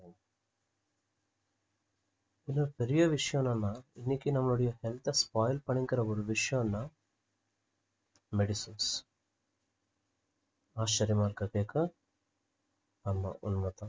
இதுல பெரிய விஷயம் என்னன்னா இன்னைக்கு நம்மளுடைய health அ spoil பண்ணிக்கிற ஒரு விஷ்யம்னா medicines ஆச்சர்யமா இருக்கா கேக்க ஆமா உண்மைதான்